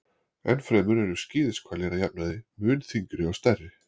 Enn fremur eru skíðishvalir að jafnaði mun þyngri og stærri.